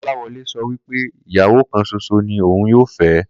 Kó̩láwo̩lé so̩ wí pé ìyàwó kan s̩os̩o ni òun yóò fé̩